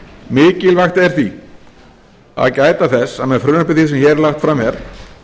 mikilvægt er því að gæta þess að með frumvarpi því sem hér er lagt fram er